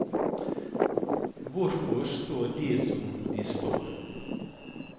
Hvorfor står de som de står?